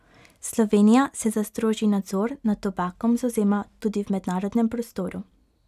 Slovenija se za strožji nadzor nad tobakom zavzema tudi v mednarodnem prostoru.